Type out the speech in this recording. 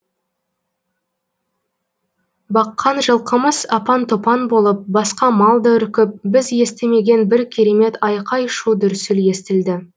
баққан жылқымыз апан топан болып басқа мал да үркіп біз естімеген бір керемет айқай шу дүрсіл естілді